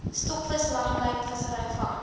stokvis langlynvissery vang